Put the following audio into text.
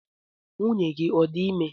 Nwunye gi ọ dị ime?